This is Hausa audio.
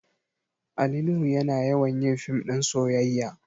Ali nuhu yana yawan yin fim ɗin soyayya